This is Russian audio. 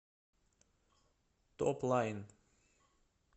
топлайн